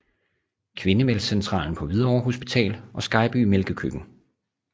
Kvindemælkscentralen på Hvidovre Hospital og Skejby Mælkekøkken